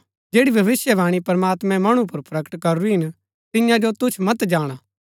जैड़ी भविष्‍यवाणी प्रमात्मैं मणु पुर प्रकट करूरी हिन तियां जो तुच्छ मत जाणा